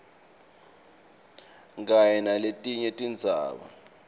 kanye naletinye tindzaba